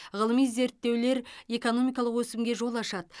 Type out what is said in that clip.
ғылыми зерттеулер экономикалық өсімге жол ашады